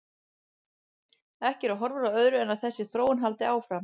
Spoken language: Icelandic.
Ekki eru horfur á öðru en að þessi þróun haldi áfram.